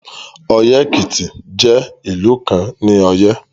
Oye-Ekiti jẹ ilu kan ni Oye